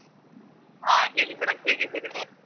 ಹಾ ಹೇಳಿ madam ಹೇಗಿದ್ದೀರಿ ನೀವು?